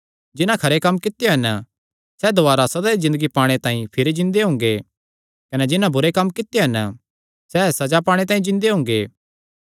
जिन्हां खरे कम्म कित्यो हन सैह़ दुवारी सदा दी ज़िन्दगी पाणे तांई भिरी जिन्दे हुंगे कने जिन्हां बुरे कम्म कित्यो हन सैह़ सज़ा पाणे तांई जिन्दे हुंगे